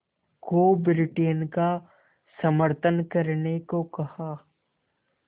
को ब्रिटेन का समर्थन करने को कहा